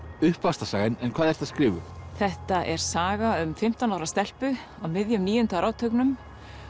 uppvaxtarsaga en hvað ertu að skrifa um þetta er saga um fimmtán ára stelpu á miðjum níunda áratugnum